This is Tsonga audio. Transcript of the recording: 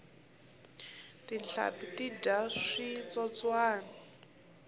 tinhlampfi ti dya switsotswani